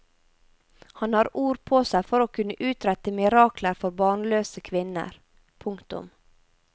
Han har ord på seg for å kunne utrette mirakler for barnløse kvinner. punktum